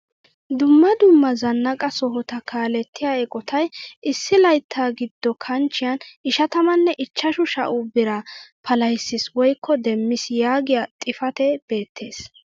Dumma dumma zanaqaa sohota kaalettiyaa eqotay issi laytta giddo kanchchiyaan ishatamme ichchashu sha"u biraa palahissiis woykko demmiis yagiyaa xifatee beettees!